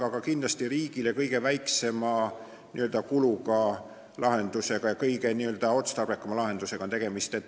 Aga kindlasti on see riigile kõige väiksema kuluga ja kõige otstarbekam lahendus.